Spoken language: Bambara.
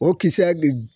O kisɛ